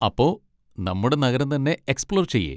അപ്പോ, നമ്മുടെ നഗരം തന്നെ എക്സ്പ്ലോർ ചെയ്യേ?